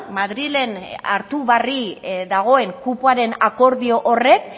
madrilen hartu barri dagoen kupoaren akordio horrek